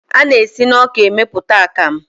A na-esi na ọka emeputa akamu.